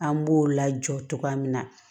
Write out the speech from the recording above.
An b'o lajɔ cogoya min na